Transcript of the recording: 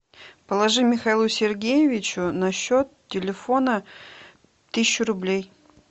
положи михаилу сергеевичу на счет телефона тысячу рублей